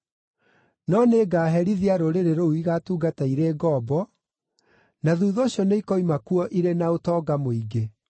No nĩngaherithia rũrĩrĩ rũu igatungata irĩ ngombo, na thuutha ũcio nĩikoima kuo irĩ na ũtonga mũingĩ.